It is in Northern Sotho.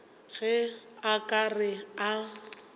ge a ka re a